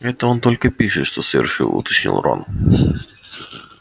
это он только пишет что совершил уточнил рон